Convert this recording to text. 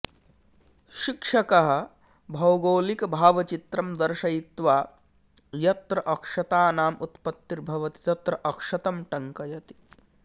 शिक्षकः भौगोलिकभावचित्रं दर्शयित्वा यत्र अक्षतानाम् उत्पत्तिर्भवति तत्र अक्षतं टङ्कयति